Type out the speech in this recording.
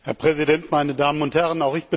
Herr Präsident, meine Damen und Herren!